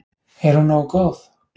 Er hún nógu góð?